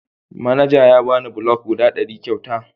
Manaja ya bani bulok guda ɗari kyauta.